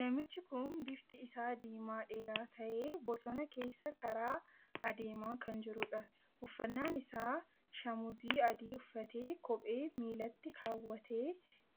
Namichi kun bifti isaa diimaa dheeraa tahee bosona keessa karaa adeemaa kan jiruudha. uffannaan isaa shamuuzii adii uffatee kophee miillatti kaawwatee